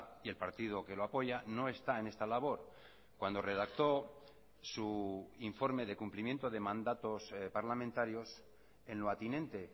y el partido que lo apoya no está en esta labor cuando redactó su informe de cumplimiento de mandatos parlamentarios en lo atinente